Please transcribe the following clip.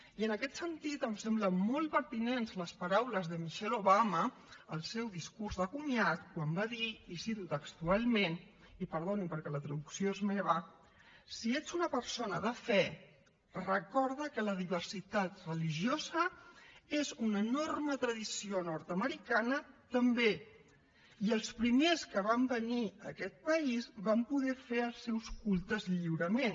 i en aquest sentit em semblen molt pertinents les paraules de michelle obama al seu discurs de comiat quan va dir i ho cito textualment i perdonin perquè la traducció és meva si ests una persona de fe recorda que la diversitat religiosa és una enorme tradició nord americana també i els primers que van venir a aquest país van poder fer els seus cultes lliurement